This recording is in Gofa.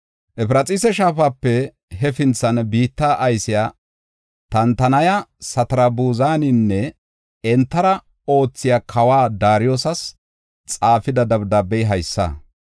Efraxiisa Shaafape hefintha biitta aysiya Tantanaya, Satarbuzaninne entara oothiya kawa Daariyosas xaafida dabdaabey haysa.